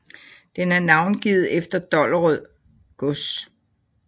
Den er navngivet efter Dollerød gods